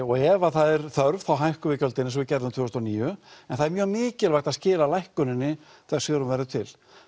og ef það er þörf þá hækkum við gjöldin eins og við gerðum tvö þúsund og níu en það er mjög mikilvægt að skila lækkuninni þegar hún verður til